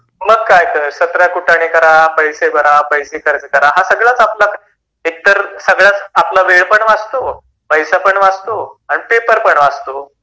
मग काय तर ? १७ कुटाने करा, पैसे भरा, पैसे खर्च करा, एक तर वेळ पण वाचतो, पैसा पण वाचतो आणि पेपर पण वाचतो.